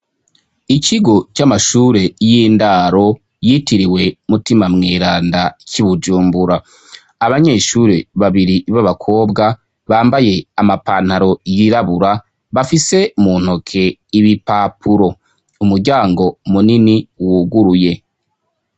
Ikigo c'amashure y'indaro yitiriwe Mutima Mweranda c'i Bujumbura, abanyeshure babiri babakobwa bambaye amapantaro yirabura bafise mu ntoke ibipapuro, umuryango munini wuguruye.